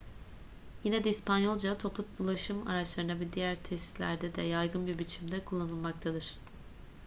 yine de i̇spanyolca toplu ulaşım araçlarında ve diğer tesislerde de yaygın bir biçimde kullanılmaktadır